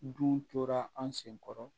Dun tora an sen kɔrɔ